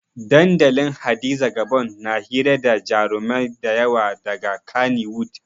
Dandalin hadiza gabon na hira da jarumai dayawa daga kaniwud